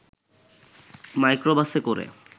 মাইক্রোবাসে করে